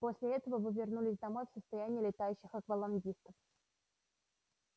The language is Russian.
после этого вы вернулись домой в состоянии летающих аквалангистов